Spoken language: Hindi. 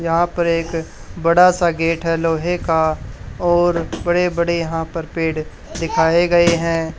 यहां पर एक बड़ा सा गेट है लोहे का और बड़े बड़े यहां पर पेड़ दिखाएं गए हैं।